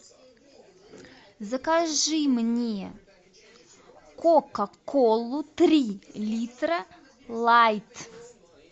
закажи мне кока колу три литра лайт